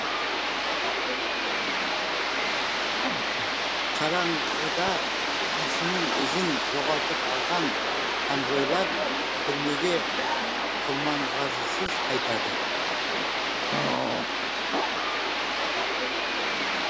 қараңғыда күйшінің ізін жоғалтып алған конвойлар түрмеге құрманғазысыз қайтады